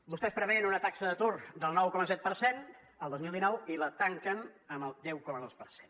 vostès preveien una taxa d’atur del nou coma set per cent el dos mil dinou i la tanquen amb el deu coma dos per cent